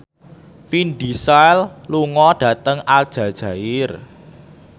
Vin Diesel lunga dhateng Aljazair